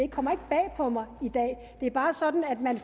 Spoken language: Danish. kommer bag på mig det er bare sådan at man